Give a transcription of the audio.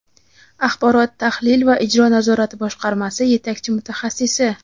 Axborot-tahlil va ijro nazorati boshqarmasi yetakchi mutaxasssisi;.